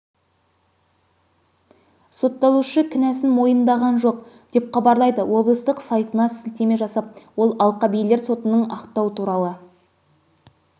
сотталушы кінәсін мойындаған жоқ деп хабарлайды облыстық сайтына сілтеме жасап ол алқабилер сотының ақтау туралы